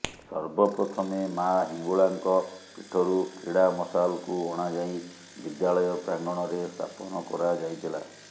ସର୍ବପ୍ରଥମେ ମା ହିଙ୍ଗୁଳାଙ୍କ ପୀଠରୁ କ୍ରୀଡା ମଶାଲକୁ ଅଣାଯାଇ ବିଦ୍ୟାଳୟ ପ୍ରାଙ୍ଗଣରେ ସ୍ଥାପନ କରା ଯାଇଥିଲା